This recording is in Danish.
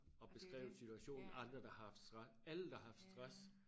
Og beskrevet situationen andre der har haft alle der har haft stress